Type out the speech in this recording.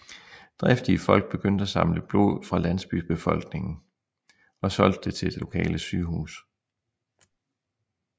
Driftige folk begyndte at samle blod fra landsbybefolkningen og solgte det til lokale sygehus